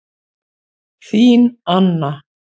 Þín Anna